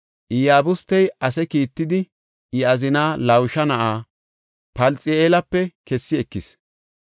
Iyabustey ase kiittidi I azina Lawusha na7a Palxi7eelape kessi ekis.